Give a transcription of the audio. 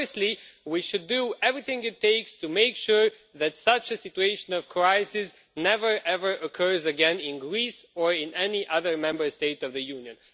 Firstly, we should do everything it takes to make sure that such a situation of crisis never ever occurs again in Greece or in any other Member State of the Union.